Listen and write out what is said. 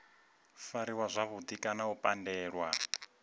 fariwa zwavhudi kana u pandelwa